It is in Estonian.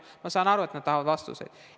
Ma saan aru, et nad tahavad vastuseid.